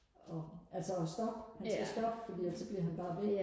og altså og stoppe han skal stoppe fordi ellers så bliver han bare ved